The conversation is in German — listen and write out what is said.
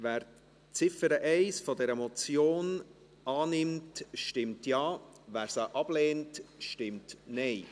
Wer die Ziffer 1 dieser Motion annehmen will, stimmt Ja, wer dies ablehnt, stimmt Nein.